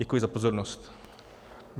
Děkuji za pozornost.